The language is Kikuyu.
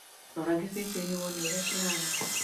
Rora gĩcicio-inĩ wone ũrĩa kĩhaana.